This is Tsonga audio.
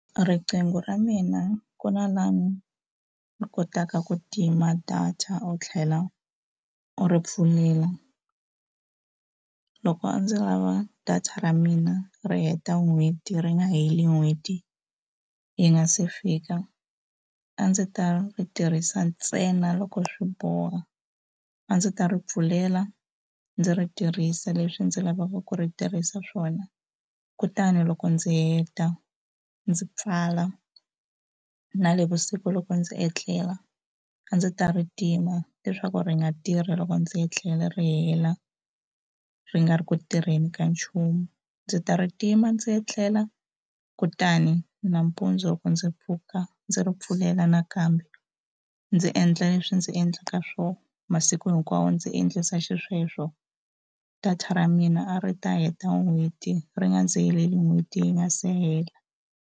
Riqingho ra mina ku na laha ni kotaka ku tima data u tlhela u ri pfulela loko a ndzi lava data ra mina ri heta n'hweti ri nga heli n'hweti yi nga se fika a ndzi ta ri tirhisa ntsena loko swi boha a ndzi ta ri pfulela ndzi ri tirhisa leswi ndzi lavaka ku ri tirhisa swona kutani loko ndzi heta ndzi pfala na le vusiku loko ndzi etlela a ndzi ta ri tima leswaku ri nga tirhi loko ndzi etlela ri tlhela ri nga ri ku tirheni ka nchumu ndzi ta ri tima ndzi etlela kutani nampundzu loko ndzi pfuka ndzi ri pfulela nakambe ndzi endla leswi ndzi endlaka swoho masiku hinkwawo ndzi endlisa xisweswo data ra mina a ri ta heta n'hweti ri nga ndzi heleli n'hweti yi nga se hela.